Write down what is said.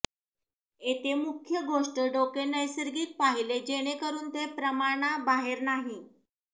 येथे मुख्य गोष्ट डोके नैसर्गिक पाहिले जेणेकरून ते प्रमाणा बाहेर नाही